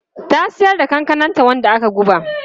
Ta siyar da kankananta wanda aka guba.